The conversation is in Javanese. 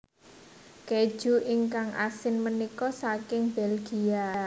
Keju ingkang asin menika saking Belgia